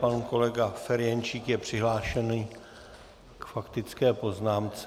Pan kolega Ferjenčík je přihlášen k faktické poznámce.